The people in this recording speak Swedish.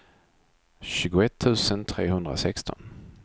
tjugoett tusen trehundrasexton